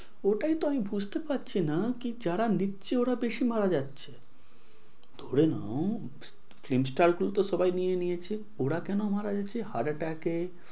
ওটাই তো আমি বুঝতে পারছি না যে কি যারা নিচ্ছে ওরা বেশি মারা যাচ্ছে। ধরে নাও তো সবাই নিয়ে নিয়েছে ওরা কেন মারা যাচ্ছে heart attack এ